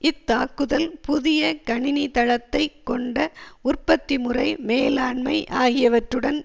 இத்தாக்குதல் புதிய கணினி தளத்தை கொண்ட உற்பத்தி முறை மேலாண்மை ஆகியவற்றுடன்